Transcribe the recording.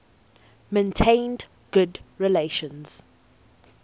maintained good relations